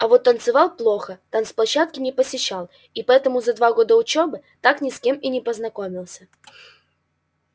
а вот танцевал плохо танцплощадки не посещал и поэтому за два года учёбы так ни с кем и не познакомился